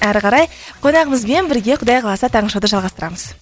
әрі қарай қонағымызбен бірге құдай қаласа таңғы шоуды жалғастырамыз